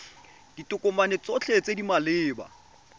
ditokomane tsotlhe tse di maleba